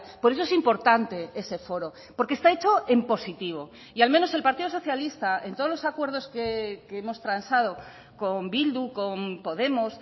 por eso es importante ese foro porque está hecho en positivo y al menos el partido socialista en todos los acuerdos que hemos transado con bildu con podemos